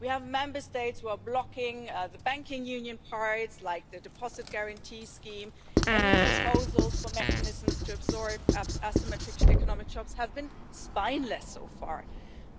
We have Member States who are blocking the banking union parts, like the Deposit Guarantee Scheme, and any proposals for mechanisms to absorb asymmetric economic shocks have been spineless so far.